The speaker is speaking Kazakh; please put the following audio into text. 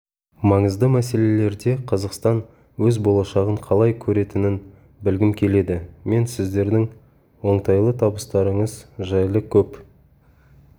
маңызды мселелерде қазақстан өз болашағын қалай көретінін білгім келеді мен сіздердің оңтайлы табыстарыңыз жайлы көп